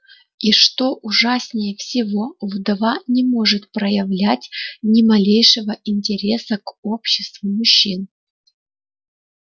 и что ужаснее всего вдова не может проявлять ни малейшего интереса к обществу мужчин